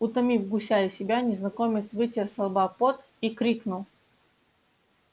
утомив гуся и себя незнакомец вытер со лба пот и крикнул